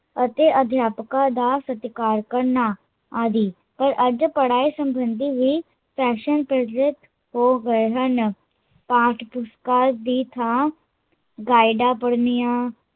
ਅਤੇ ਅਧਿਆਪਕਾਂ ਦਾ ਸਤਿਕਾਰ ਕਰਨਾ ਆਦਿ, ਪਰ ਅੱਜ ਪੜਾਈ ਸਬੰਦੀ ਵੀ ਫੈਸ਼ਨ ਵਿਚਲਿਤ ਹੋ ਗਏ ਹਨ ਪਾਠ ਪੁਸਤਕਾਲ ਦੀ ਥਾਂ ਗਾਈਡਾ ਪੜਨੀਆ